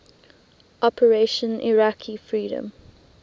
operation iraqi freedom